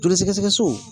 Joli sɛgɛsɛgɛ so